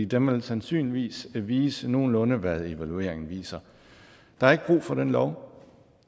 den vil sandsynligvis vise nogenlunde hvad evalueringen viser der er ikke brug for den lov